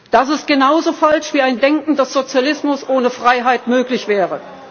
Das ist genauso falsch wie der Gedanke, dass Sozialismus ohne Freiheit möglich wäre.